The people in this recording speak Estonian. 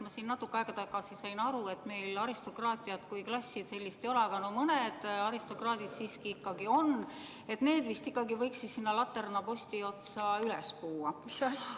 Ma siin natuke aega tagasi sain aru, et meil aristokraatiat kui klassi ei ole, aga mõned aristokraadid siiski on ja need vist võiks ikkagi sinna laternaposti otsa üles puua.